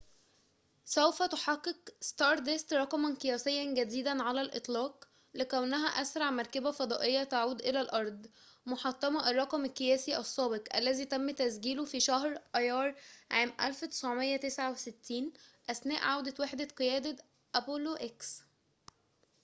سوف تحقق ستاردست رقماً قياسياً جديداً على الإطلاق لكونها أسرع مركبة فضائية تعود إلى الأرض محطّمةً الرّقم القياسي السّابق الذي تمّ تسجيله في شهر أَيَّار عام 1969 أثناء عودة وحدة قيادة أبولو إكس